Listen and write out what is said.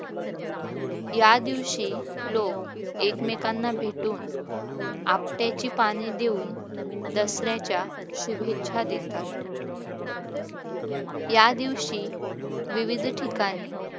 या दिवशी लोक एकमेकांना भेटून आपट्याची पान देऊन दसऱ्याच्या शुभेच्छा देतात. या दिवशी विविध ठिकाणी